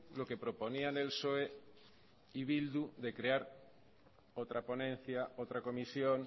lo que proponían el psoe y bildu de crear otra ponencia otra comisión